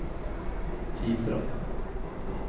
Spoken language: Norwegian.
Hitra